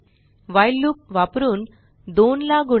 while loop वापरुन 2 ला गुणा